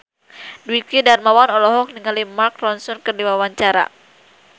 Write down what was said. Dwiki Darmawan olohok ningali Mark Ronson keur diwawancara